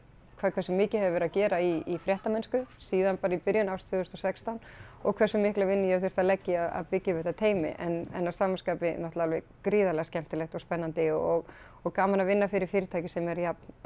hversu mikið hefur verið að gera í fréttamennsku síðan bara í byrjun árs tvö þúsund og sextán og hversu mikla vinnu ég hef þurft að leggja í að byggja upp þetta teymi en að sama skapi náttúrulega alveg gríðarlega skemmtilegt og spennandi og og gaman að vinna fyrir fyrirtæki sem er jafn